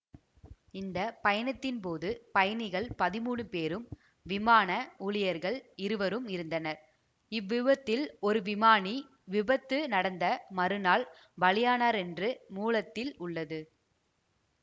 இந்த பயணத்தின்போதுபயணிகள் பதிமூனு பேரும்விமான ஊழியர்கள் இருவரும் இருந்தனர்இவ்விபத்தில் ஒரு விமானி விபத்து நடந்த மறுநாள் பலியானாரென்று மூலத்தில் உள்ளது